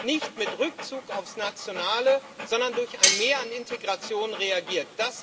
nicht mit Rückzug aufs Nationale, sondern durch ein Mehr an Integration reagiert.